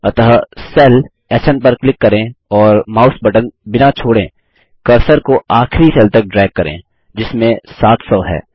अतः सेल स्न पर क्लिक करें और माउस बटन बिना छोड़ें कर्सर को आखिरी सेल तक ड्रैग करें जिसमें 700 है